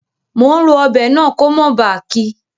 Mo n ro ọbẹ̀ náà ko mó ba kí